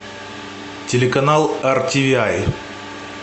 телеканал артивиай